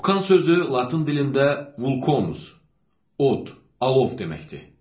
Vulcan sözü latın dilində vulkanus, od, alov deməkdir.